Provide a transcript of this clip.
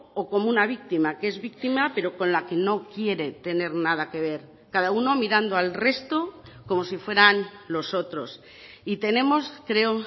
o como una víctima que es víctima pero con la que no quiere tener nada que ver cada uno mirando al resto como si fueran los otros y tenemos creo